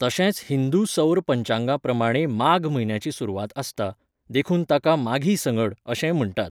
तशेंच हिंदू सौर पंचांगाप्रमाणें माघ म्हयन्याची सुरवात आसता, देखून ताका 'माघी संगंड' अशेंय म्हण्टात.